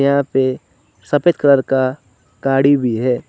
यहां पे सफेद कलर का गाड़ी भी है।